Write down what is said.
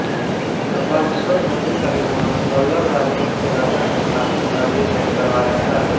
कपालीश्वर मंदिर का निर्माण पल्लव राजवंश के राजा ने सातवीं शताब्दी में करवाया था